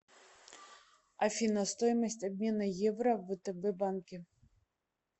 афина стоимость обмена евро в втб банке